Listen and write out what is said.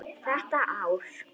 Þetta ár.